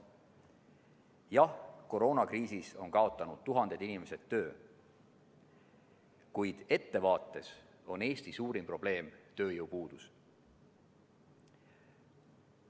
Jah, koroonakriisis on tuhanded inimesed kaotanud töö, kuid ettevaates on Eesti suurim probleem tööjõupuudus.